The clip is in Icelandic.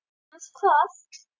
Gunnar: Hvað?